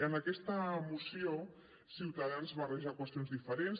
en aquesta moció ciutadans barreja qüestions diferents